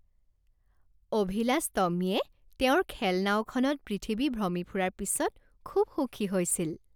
অভিলাষ টমীয়ে তেওঁৰ খেলনাওখনত পৃথিৱী ভ্ৰমি ফুৰাৰ পিছত খুব সুখী হৈছিল।